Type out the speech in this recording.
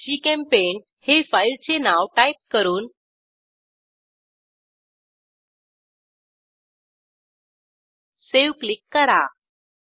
propaneजीचेम्पेंट हे फाईलचे नाव टाईप करून सावे क्लिक करा